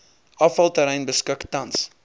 afvalterrein beskik tans